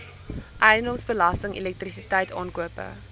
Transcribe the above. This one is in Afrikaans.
eiendomsbelasting elektrisiteit aankope